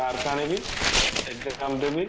mark ଆଣିବି exam ଦେବି